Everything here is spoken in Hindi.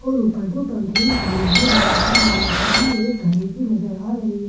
और ऊपर दो पंखे भी टंगे हुए नजर आ रहे हैं सामने एक घड़ी भी नजर आ रही है।